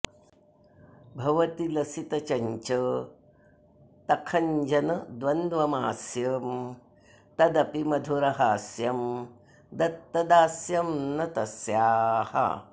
भवति लसितचञ्चत्खञ्जनद्वन्द्वमास्यं तद् अपि मधुरहास्यं दत्तदास्यं न तस्याः